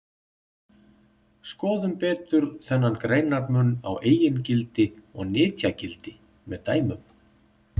Skoðum betur þennan greinarmun á eigingildi og nytjagildi með dæmum.